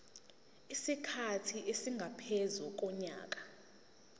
isikhathi esingaphezu konyaka